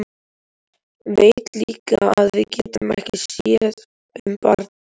Veit líka að við getum ekki séð um barn.